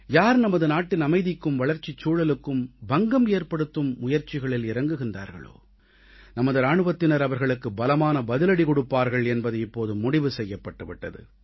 யார் நமது நாட்டின் அமைதிக்கும் வளர்ச்சி சூழலுக்கும் பங்கம் ஏற்படுத்தும் முயற்சிகளில் இறங்குகிறார்களோ நமது இராணுவத்தினர் அவர்களுக்கு பலமான பதிலடி கொடுப்பார்கள் என்பது இப்போது முடிவு செய்யப்பட்டு விட்டது